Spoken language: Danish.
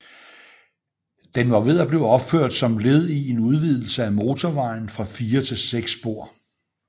Den var ved at bliver opført som led i en udvidelse af motorvejen fra fire til seks spor